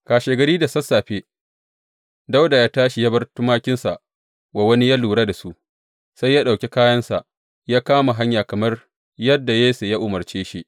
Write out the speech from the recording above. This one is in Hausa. Kashegari da sassafe, Dawuda ya tashi ya bar tumakinsa wa wani yă lura da su, sai ya ɗauki kayansa, ya kama hanya kamar yadda Yesse ya umarce shi.